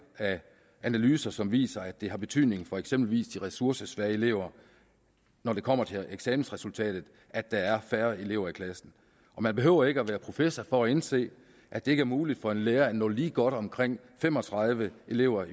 af analyser som viser at det har betydning for eksempelvis de ressourcesvage elever når det kommer til eksamensresultatet at der er færre elever i klassen man behøver ikke at være professor for at indse at det ikke er muligt for en lærer at nå lige så godt omkring fem og tredive elever